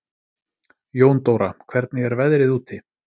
Jóndóra, hvernig er veðrið úti?